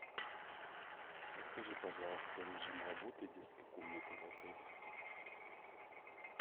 подскажи пожалуйста режим работы детской комнаты в отеле